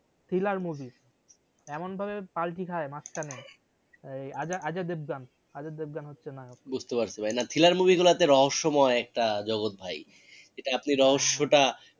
Thriller movie এমন ভাবে পাল্টি খাই মাঝখানে ওই অজয় অজয় দেবগান অজয় দেবগান হচ্ছে নায়ক। বুঝতে পারসী ভাই না thriller movie গুলো তে রহস্য মই একটা জগৎ ভাই এটা আপনি রহস্য টা